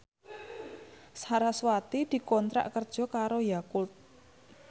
sarasvati dikontrak kerja karo Yakult